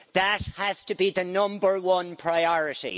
That has to be the number one priority.